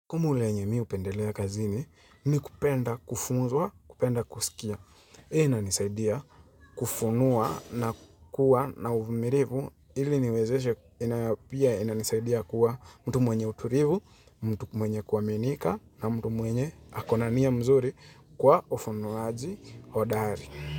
Kumu lenye mi hupendelea kazini ni kupenda kufunzwa, kupenda kusikia. Inanisaidia kufunuwa na kuwa na uvumilivu ili niwezeshe. Pia inanisaidia kuwa mtu mwenye utulivu, mtu mwenye kuaminika na mtu mwenye ako na nia mzuri kwa ufunuaji hodari.